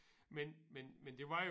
Men men men det var